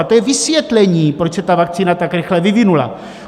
A to je vysvětlení, proč se ta vakcína tak rychle vyvinula.